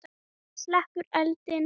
Slekkur eldinn.